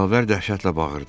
Yavər dəhşətlə bağırdı.